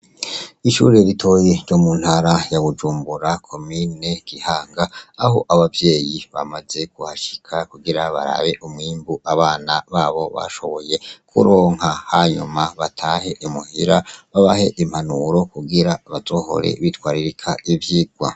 Ishuri ritoyi ryo muntara ya bujumbura komine kinama aho abavyeyi bamaze kuhashika kugira barabe umwimbu abana babo bashoboye kuronka hanyuma batahe imuhira babahe impanuro kugira bazohore bitwararika ivyigwa.